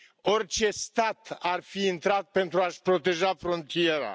Orice stat ar fi intrat pentru a și proteja frontiera.